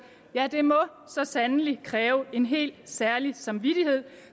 ja det må så sandelig kræve en helt særlig samvittighed